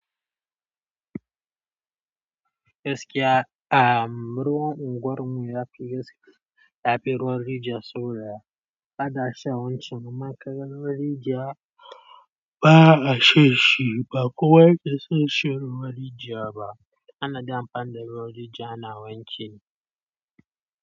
Gaskiya am ruwan unguwar mu yafi gaske, yafi ruwan rijiya saboda ana shan wancan, amma kaga ruwan rijiya ba'a shan shi, ba kowa yake son shan ruwan rijiya ba. Ana dai amfani da ruwan rijiya ana wanki.